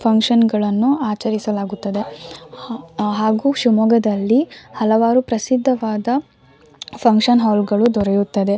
Function ಗಳನ್ನು ಆಚರಿಸಲಾಗುತ್ತದೆ ಹಾಗು ಶಿಮೊಗ್ಗದಲ್ಲಿ ಹಲವಾರು ಪ್ರಸಿದ್ದವಾದ ಫಕ್ಷನ್ ಹಾಲ್ ಗಳು ದೊರೆಯುತ್ತದೆ.